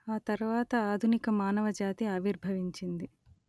ఆ తర్వాత ఆధునిక మానవ జాతి ఆవిర్భవించింది